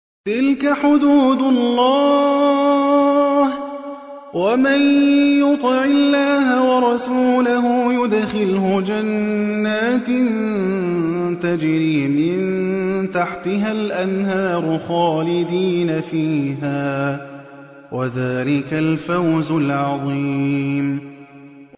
تِلْكَ حُدُودُ اللَّهِ ۚ وَمَن يُطِعِ اللَّهَ وَرَسُولَهُ يُدْخِلْهُ جَنَّاتٍ تَجْرِي مِن تَحْتِهَا الْأَنْهَارُ خَالِدِينَ فِيهَا ۚ وَذَٰلِكَ الْفَوْزُ الْعَظِيمُ